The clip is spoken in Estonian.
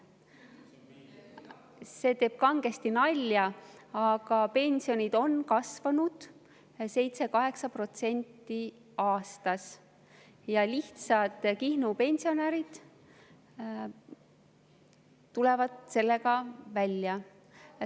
See teeb kangesti nalja, aga pensionid on kasvanud 7–8% aastas ja lihtsad Kihnu pensionärid tulevad sellega välja.